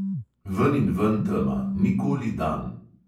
Veninven tema, nikoli dan.